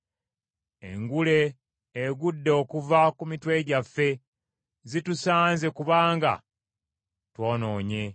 Engule egudde okuva ku mitwe gyaffe. Zitusanze kubanga twonoonye!